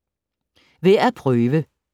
Værd at prøve